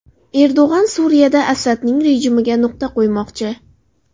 Erdo‘g‘on Suriyada Asadning rejimiga nuqta qo‘ymoqchi .